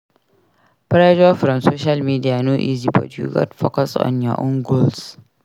Pressure from social media no easy but you gats focus on your own goals.